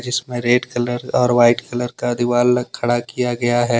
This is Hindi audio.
जिसमें रेड कलर और वाइट कलर का दीवार अलग खड़ा किया गया है।